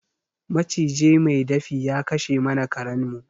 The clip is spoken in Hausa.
Maciji mai dafi ya kashe mana karen mu